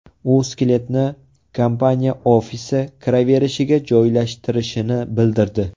U skeletni kompaniya ofisi kiraverishiga joylashtirishini bildirdi.